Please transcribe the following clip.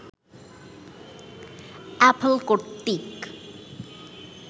Apple কর্তৃক